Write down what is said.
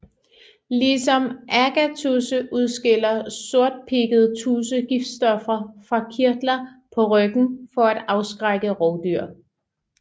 Ligesom agatudse udskiller sortpigget tudse giftstoffer fra kirtler på ryggen for at afskrække rovdyr